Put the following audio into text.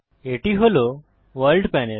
এটি হল world panel